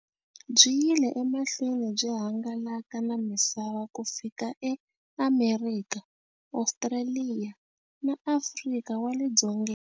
Byi yile emahlweni byi hangalaka na misava ku fika eAmerika, Ostraliya na Afrika wale dzongeni.